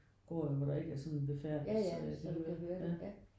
Går jo hvor der ikke er sådan befærdes øh ja